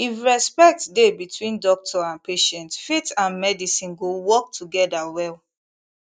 if respect dey between doctor and patient faith and medicine go work together well